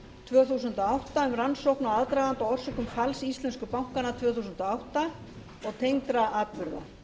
tvö þúsund og átta um rannsókn á aðdraganda og orsökum falls íslensku bankanna tvö þúsund og átta og tengdra atburða